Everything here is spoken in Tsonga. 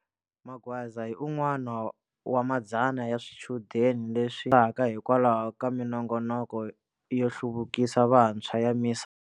Magwaza hi un'wana wa madzana ya swichudeni leswi pasaka hikwalaho ka minongoloko yo hluvukisa vantshwa ya MISA.